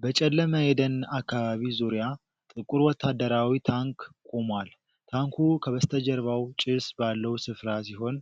በጨለመ የደን አካባቢ ዙሪያ ጥቁር ወታደራዊ ታንክ ቆሟል። ታንኩ ከበስተጀርባው ጭስ ባለው ስፍራ ሲሆን፣